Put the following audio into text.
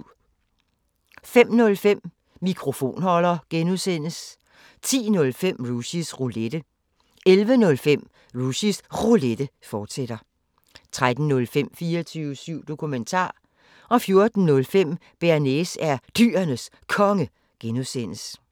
05:05: Mikrofonholder (G) 10:05: Rushys Roulette 11:05: Rushys Roulette, fortsat 13:05: 24syv Dokumentar 14:05: Bearnaise er Dyrenes Konge (G)